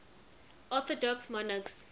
orthodox monarchs